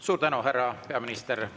Suur tänu, härra peaminister!